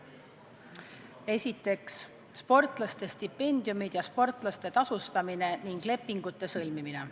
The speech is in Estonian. Esiteks, sportlaste stipendiumid ja sportlaste tasustamine ning lepingute sõlmimine.